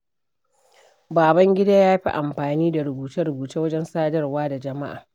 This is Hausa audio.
Babangida ya fi amfani da rubuce-rubuce wajen sadarwa da jama’a.